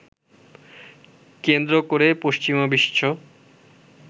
কেন্দ্র করে পশ্চিমা বিশ্ব